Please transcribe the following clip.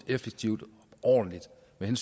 land